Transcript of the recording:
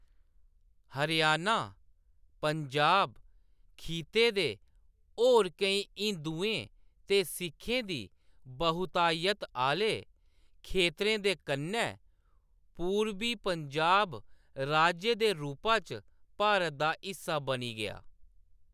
हरियाणा, पंजाब खित्ते दे होर केईं हिंदुएं ते सिखें दी बहुतायत आह्‌ले खेत्तरें दे कन्नै, पूर्बी पंजाब राज्य दे रूपा च भारत दा हिस्सा बनी गेआ।